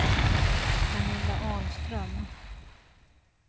Pernilla Ahlström